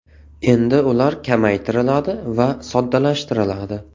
Endi ular kamaytiriladi va soddalashtiriladi.